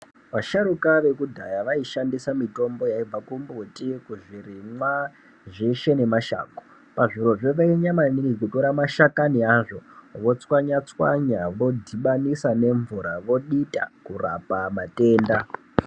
Vasharuka vekudhaya vaishandisa mitombo yaibva kumbuti, kuzvirimwa, zveshe nemashango. Pazvirozvo vainyanya maningi kutora mashakani azvo votswanya-tswanya ,vodhibanisa nemvura, vodita, kurapa matenda.